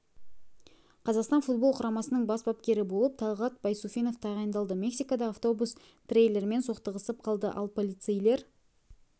қазақстан футбол құрамасының бас бапкері болып талғат байсуфинов тағайындалды мексикада автобус трейлермен соқтығысып қалды ал полицейлер